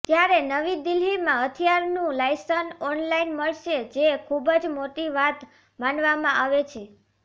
ત્યારે નવીદિલ્હીમાં હથિયારનું લાયસન્સ ઓનલાઈન મળશે જે ખૂબજ મોટી વાત માનવામાં આવે છે